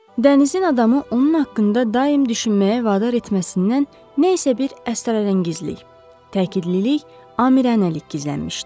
Dənizin adamı onun haqqında daim düşünməyə vadar etməsindən nə isə bir əstarəngizlik, təkidlilik, amiranəlik gizlənmişdi.